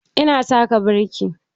Ina taka birki